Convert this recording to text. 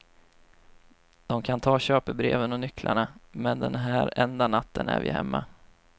De kan ta köpebreven och nycklarna, men den här enda natten är vi hemma.